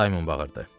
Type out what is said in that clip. Saymon bağırdı.